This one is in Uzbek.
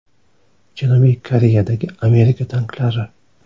Janubiy Koreyadagi Amerika tanklari.